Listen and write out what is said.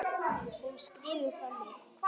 Hún skríður fram í.